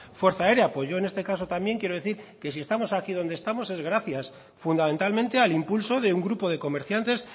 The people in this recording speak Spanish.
fuerza aérea pues yo en este caso también quiero decir que si estamos aquí donde estamos es gracias fundamentalmente al impulso de un grupo de comerciantes